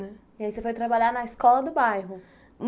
E aí você foi trabalhar na escola do bairro?